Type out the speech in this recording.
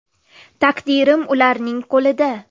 Taqdirim ularning qo‘lida.